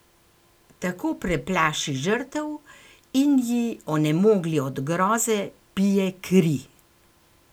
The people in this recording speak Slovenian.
Tako preplaši žrtev in ji, onemogli od groze, pije kri.